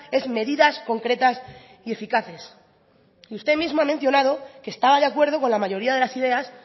es medidas concretas y eficaces y usted mismo ha mencionado que estaba de acuerdo con la mayoría de las ideas